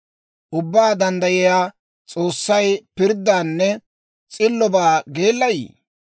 Ubbaa Danddayiyaa s'oossay pirddaanne s'illobaa geellayii?